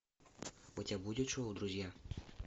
у тебя будет шоу друзья